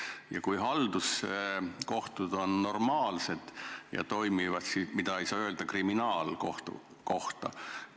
Ja kui meie halduskohtud on normaalsed ja toimivad, siis seda ei saa öelda kriminaalkohtu kohta.